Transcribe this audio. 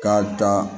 K'a dan